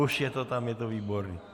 Už je to tam, je to výborné.